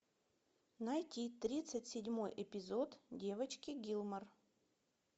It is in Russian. найти тридцать седьмой эпизод девочки гилмор